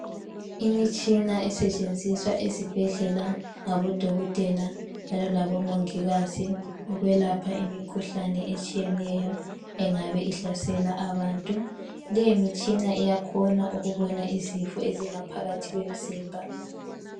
Imitshina esetshenziswa esibhedlela ngabodokotela njalo labomongikazi ukwelapha imikhuhlane etshiyeneyo engabe ihlasela abantu. Leyo mitshina iyakhona ukubona izifo ezingaphakathi kwemizimba.